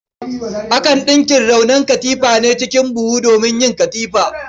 Akan ɗinka raunon shikafa a ne cikin buhu domin yin katifa.